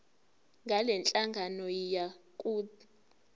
ngalenhlangano yiya kut